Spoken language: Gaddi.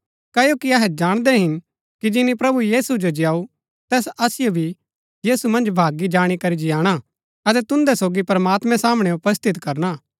क्ओकि अहै जाणदै हिन कि जिनी प्रभु यीशु जो जीयाऊ तैस असिओ भी यीशु मन्ज भागी जाणी करी जियाणा अतै तुन्दै सोगी प्रमात्मैं सामणै उपस्थित करणा